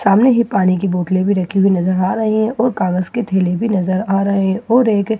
सामने ये पानी की बोतले भी रखी हुई नजर आ रही है और कागज के थैले भी नजर आ रहे है और एक र--